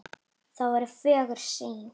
Það er fögur sýn.